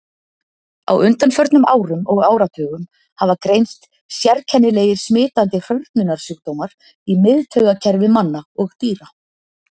Á undanförnum árum og áratugum hafa greinst sérkennilegir smitandi hrörnunarsjúkdómar í miðtaugakerfi manna og dýra.